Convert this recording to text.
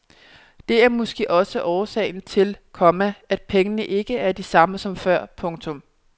Det er måske også årsagen til, komma at pengene ikke er de samme som før. punktum